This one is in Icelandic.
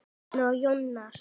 Bjarni og Jónas.